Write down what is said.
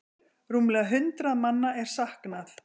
Rúmlega hundrað manna er saknað.